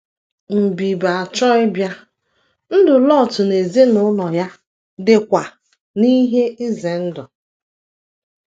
Mbib- achọ ịbịa, ndụ Lọt na ezinụlọ ya dịkwa n’ihe ize ndụ.